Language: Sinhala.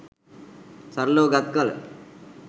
සරලව ගත් කල